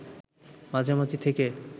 মাঝামাঝি থেকে